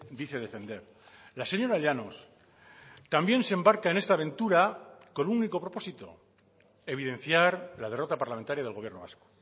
dice defender la señora llanos también se embarca en esta aventura con un único propósito evidenciar la derrota parlamentaria del gobierno vasco